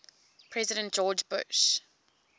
president george bush